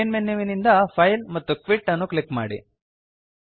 main ಮೆನ್ಯುವಿನಿಂದ file ಮತ್ತು quit ಅನ್ನು ಕ್ಲಿಕ್ ಮಾಡಿ